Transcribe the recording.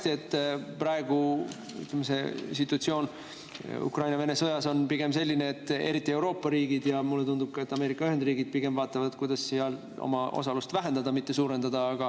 Ma küll tean väga hästi, et praegune situatsioon Ukraina-Vene sõjas on selline, et eriti Euroopa riigid ja mulle tundub, et ka Ameerika Ühendriigid, pigem vaatavad, kuidas seal oma osalust vähendada, mitte suurendada.